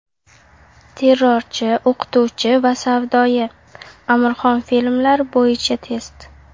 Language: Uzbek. Terrorchi, o‘qituvchi va savdoyi... Amirxon filmlari bo‘yicha test.